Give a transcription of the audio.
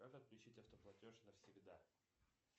как отключить автоплатеж навсегда